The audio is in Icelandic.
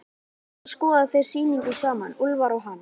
Svo skoða þeir sýninguna saman, Úlfar og hann.